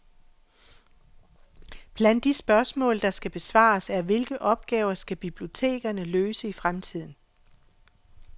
Blandt de spørgsmål, der skal besvares er, hvilke opgaver skal bibliotekerne løse i fremtiden.